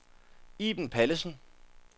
Iben Pallesen